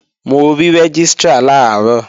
Mo rí Rẹ́gístrà làárọ̀